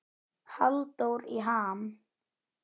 Halldór í ham